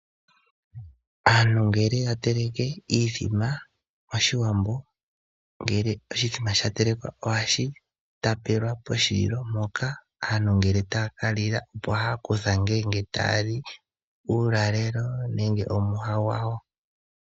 Aantu ngele ya teleke iithima mOshiwambo, ngele oshithima sha telekwa ohashi tapelwa poshililo mpoka aantu ngele taya ka lila opo haya kutha ngele taali uulalelo nenge omwiha gwawo.